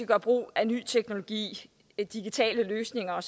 gøre brug af ny teknologi digitale løsninger